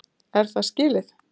Er það skilið?!